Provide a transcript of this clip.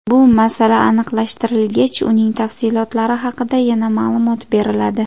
Bu masala aniqlashtirilgach, uning tafsilotlari haqida yana ma’lumot beriladi.